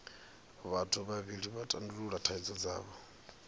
vhathu vhavhili vha tandulula thaidzo dzavho